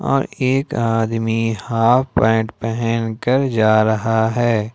और एक आदमी हॉफ पैंट पहन कर जा रहा है।